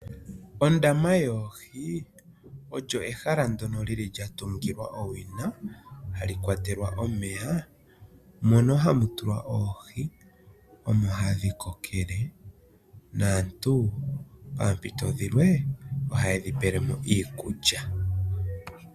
Ondama yoohi olyo ehala ndyono lya tungilwa owina, hali kwatelwa omeya. Mondama mono ohamu tulwa oohi, mono hadhi pelwa iikulya, opo dhi vule okukoka.